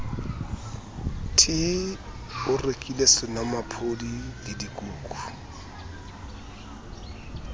t o rekile senomaphodi ledikuku